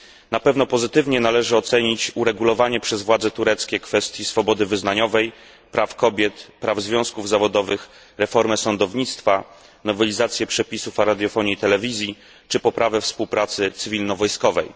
Na pewno należy pozytywnie ocenić uregulowanie przez władze tureckie kwestii swobody wyznaniowej, praw kobiet, praw związków zawodowych, reformy sądownictwa, nowelizacji przepisów o radiofonii i telewizji czy poprawy współpracy cywilno wojskowej.